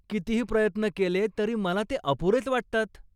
कितीही प्रयत्न केले तरी मला ते अपुरेच वाटतात.